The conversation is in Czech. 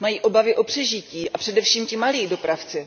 Mají obavy o přežití, a především ti malí dopravci.